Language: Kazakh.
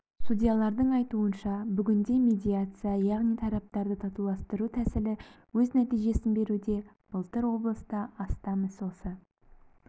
судьялардың айтуынша бүгінде медиация яғни тараптарды татуластыру тәсілі өз нәтижесін беруде былтыр облыста астам іс осы